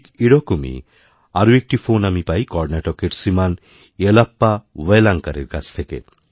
ঠিক এরকমই আরএকটি ফোন আমি পাই কর্ণাটকের শ্রীমান য়েলপ্পা ওয়েলাঙ্কারের কাছ থেকে